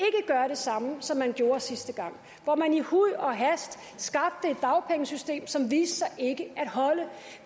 samme som man gjorde sidste gang hvor man i huj og hast skabte et dagpengesystem som viste sig ikke at holde